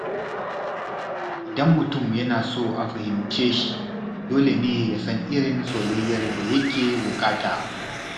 Idan mutum yana so a fahimce shi, dole ne ya san irin soyayyar da yake buƙata.